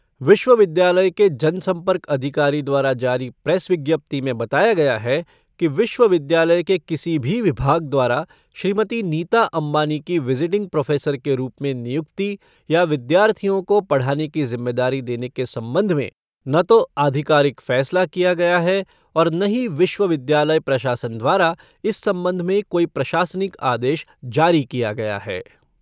विश्वविद्यालय के जनसंपर्क अधिकारी द्वारा जारी प्रेस विज्ञप्ति में बताया गया है कि विश्वविद्यालय के किसी भी विभाग द्वारा श्रीमती नीता अंबानी की विज़िटिंग प्रोफ़ेसर के रूप में नियुक्ति या विद्यार्थियों को पढ़ाने की जिम्मेदारी देने के संबंध में न तो अधिकारिक फैसला किया गया है और न ही विश्वविद्यालय प्रशासन द्वारा इस संबंध में कोई प्रशासनिक आदेश जारी किया गया है।